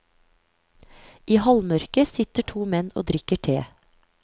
I halvmørket sitter to menn og drikker te.